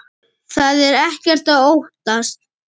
Það er ekkert að óttast.